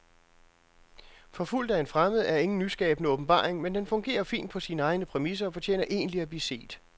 Forfulgt af en fremmed er ingen nyskabende åbenbaring, men den fungerer fint på sine egne præmisser og fortjener egentlig at blive set.